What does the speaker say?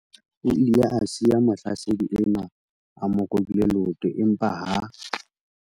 O ile a siya mohlasedi enwa a mo robile leoto empa ha